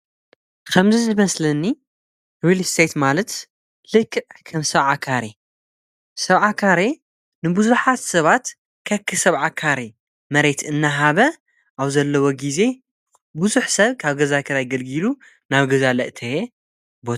ኸምዚ ዝመስለኒ ርሊስቴት ማለት ልክዕ ከም ሰብዓ ካሬ ሰብዓ ካሬ ንብዙኃት ሰባት ከኪ ሰብዓካሬ መሬት እናሃበ ኣብ ዘለዎ ጊዜ ብዙኅ ሰብ ካብ ገዛከር ኣይ ገልጊሉ ናብ ገዛለ ለእተየ እዮ።